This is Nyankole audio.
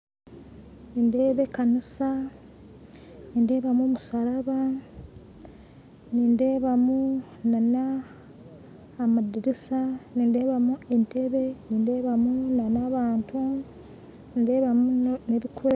Nindeeba ekanisa nindeebamu omusharaba nindeebamu n'amadiriisa nindeebamu entebe nindeebamu n'abantu